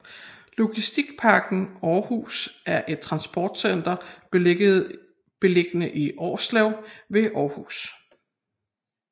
Logistikparken Aarhus er et transportcenter beliggende i Årslev ved Aarhus